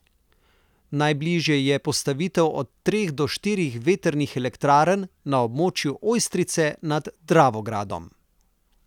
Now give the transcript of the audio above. Najbližje je postavitev od treh do štirih vetrnih elektrarn na območju Ojstrice nad Dravogradom.